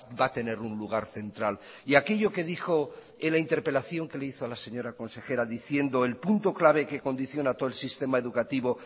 va a tener un lugar central y aquello que dijo en la interpelación que le hizo a la señora consejera diciendo el punto clave que condiciona todo el sistema educativo